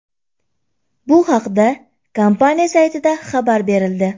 Bu haqda kompaniya saytida xabar berildi .